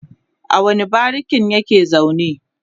a wani barikin yake zaune?